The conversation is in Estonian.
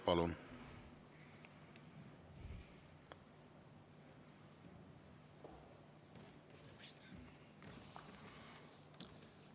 Palun!